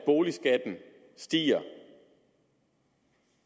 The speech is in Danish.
citere